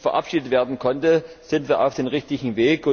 verabschiedet werden konnte, sind wir auf dem richtigen Weg.